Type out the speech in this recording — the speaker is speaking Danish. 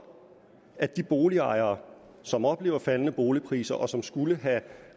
at de boligejere som oplever faldende boligpriser og som skulle have